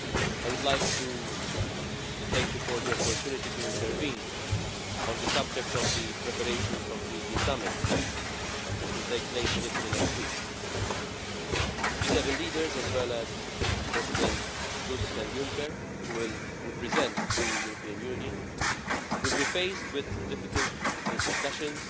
I would like to thank you for the opportunity to intervene on the subject of the preparation of the G7 Summit which will take place in Italy next week. The G7 leaders, as well as Presidents Tusk and Juncker, who will represent the European Union, will be faced with difficult discussions